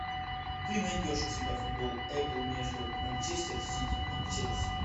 ты найдешь у себя футбол апл между манчестер сити и челси